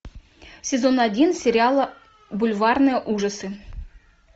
сезон один сериала бульварные ужасы